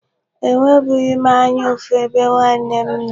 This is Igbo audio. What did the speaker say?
Enwebughị m anya ụfụ ebe nwanne m nọ.